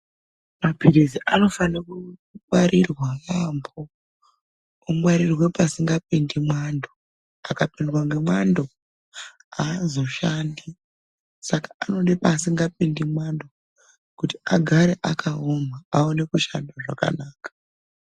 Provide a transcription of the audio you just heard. Mapirizi anofanirwa kungwarirwa yaambo, kungwarirwa pasingapindi mwando. Akapindwa nemwando, aazoshandi saka anoda paasingapindi mwando, kuti agare akaoma, awone kushanda zvakanaka.